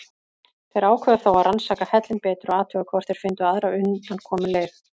Þeir ákváðu þó að rannsaka hellinn betur og athuga hvort þeir fyndu aðra undankomuleið.